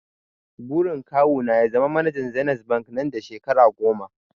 Burin kawu na ya zama manajan zenith bank nan da shekara goma